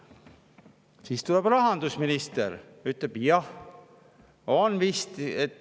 Siis tuli rahandusminister ja ütles, et jah, vist on.